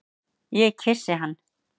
Ég kyssi hann.